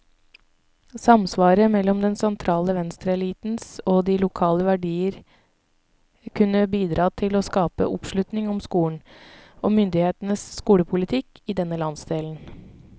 Samsvaret mellom den sentrale venstreelitens og de lokale verdier kunne bidra til å skape oppslutning om skolen, og myndighetenes skolepolitikk i denne landsdelen.